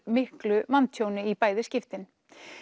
miklu manntjóni í bæði skiptin